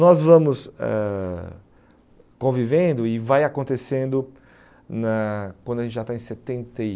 Nós vamos eh convivendo e vai acontecendo na quando a gente já está em setenta e